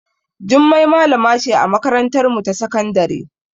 Jummai malama ce a makarantarmu ta sakandare.